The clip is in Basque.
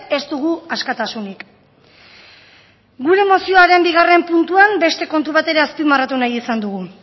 ez dugu askatasunik gure mozioaren bigarren puntuan beste kontu bat ere azpimarratu nahi izan dugu